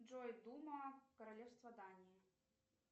джой дума королевства дании